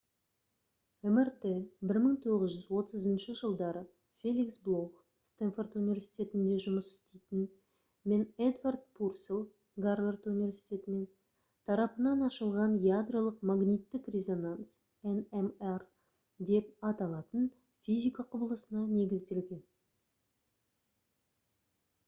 мрт 1930 жылдары феликс блох стэнфорд университетінде жұмыс істейтін мен эдвард пурселл гарвард университетінен тарапынан ашылған ядролық магниттік резонанс nmr деп аталатын физика құбылысына негізделген